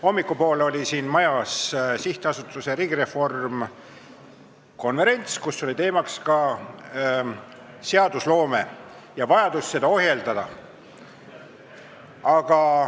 Hommikupoole oli siin majas Riigireformi SA konverents, kus oli teemaks ka seadusloome ja vajadus seda ohjeldada.